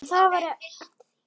En það væri eftir því.